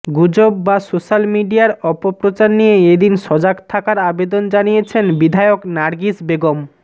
গুজব বা সোস্যাল মিডিয়ার অপপ্রচার নিয়ে এদিন সজাগ থাকার আবেদন জানিয়েছেন বিধায়ক নার্গিস বেগম